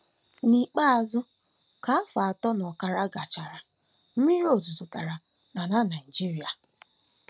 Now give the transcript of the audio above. N'ikpeazụ, ka afọ atọ na ọkara gachara, mmiri ozuzo dara n'ala Naigeria.